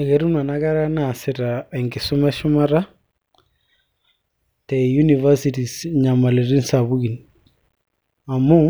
eketum nena kera naasita enkisuma eshumata te universities inyamaliritin sapukin amu